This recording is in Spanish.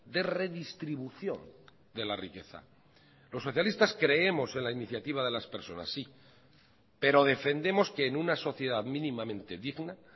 de redistribución de la riqueza los socialistas creemos en la iniciativa de las personas sí pero defendemos que en una sociedad mínimamente digna